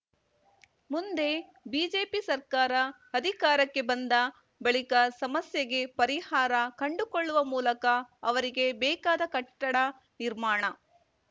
ಮುಂದೆ ಬಿಜೆಪಿ ಸರ್ಕಾರ ಅಧಿಕಾರಕ್ಕೆ ಬಂದ ಬಳಿಕ ಸಮಸ್ಯೆಗೆ ಪರಿಹಾರ ಕಂಡುಕೊಳ್ಳುವ ಮೂಲಕ ಅವರಿಗೆ ಬೇಕಾದ ಕಟ್ಟಡ ನಿರ್ಮಾಣ